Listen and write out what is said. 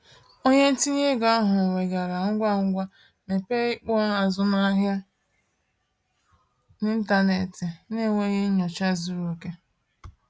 Onye ntinye ego ahụ weghaara ngwa ngwa mepee ikpo azụmahịa n’ịntanetị n’enweghị nnyocha zuru oke.